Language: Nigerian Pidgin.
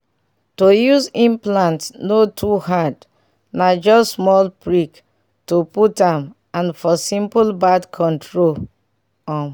to use implant no too hard na just small prick to put am and for simple birth control. um.